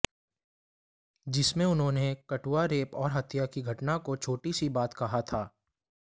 जिसमें उन्होने कठुआ रेप और हत्या की घटना को छोटी सी बात कहा था